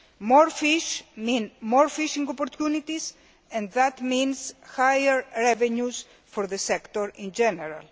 More fish mean more fishing opportunities, and that means higher revenues for the sector in general.